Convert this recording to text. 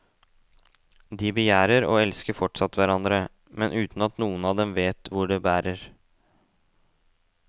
De begjærer og elsker fortsatt hverandre, men uten at noen av dem vet hvor det bærer.